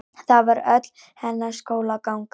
Það var öll hennar skólaganga.